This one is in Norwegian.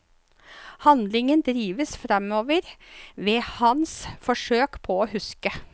Handlingen drives fremover ved hans forsøk på å huske.